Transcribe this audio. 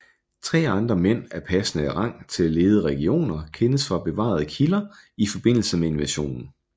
Tre andre mænd af passende rang til at lede legioner kendes fra bevarede kilder i forbindelse med invasionen